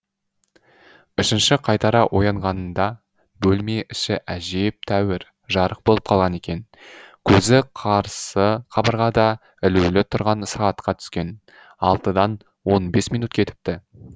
үшінші қайтара оянғанында бөлме іші әжептәуір жарық болып қалған екен көзі қарсы қабырғада ілулі тұрған сағатқа түскен алтыдан он бес минут кетіпті